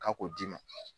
K'a k'o d'i ma